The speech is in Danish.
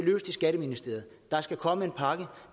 skatteministeriet der skal komme en pakke